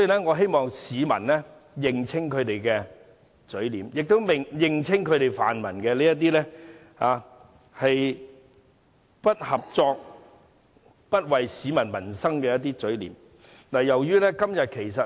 我希望市民認清泛民的嘴臉，認清他們這種不合作、不為民生着想的態度。